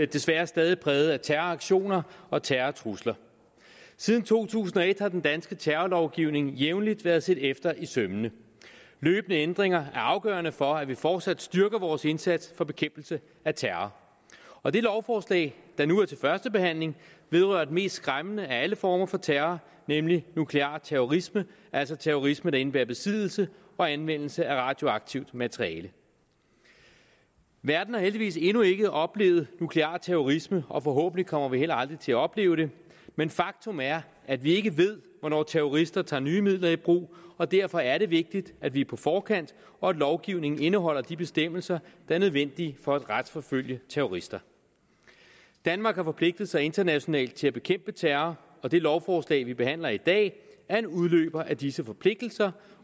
desværre stadig præget af terroraktioner og terrortrusler siden to tusind og et har den danske terrorlovgivning jævnligt været set efter i sømmene løbende ændringer er afgørende for at vi fortsat styrker vores indsats for bekæmpelse af terror og det lovforslag der nu er til første behandling vedrører den mest skræmmende af alle former for terror nemlig nuklear terrorisme altså terrorisme der indebærer besiddelse og anvendelse af radioaktivt materiale verden har heldigvis endnu ikke oplevet nuklear terrorisme og forhåbentlig kommer vi heller aldrig til at opleve det men faktum er at vi ikke ved hvornår terrorister tager nye midler i brug og derfor er det vigtigt at vi er på forkant og at lovgivningen indeholder de bestemmelser der er nødvendige for at retsforfølge terrorister danmark har forpligtet sig internationalt til at bekæmpe terror og det lovforslag vi behandler i dag er en udløber af disse forpligtelser